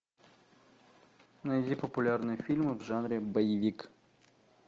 найди популярные фильмы в жанре боевик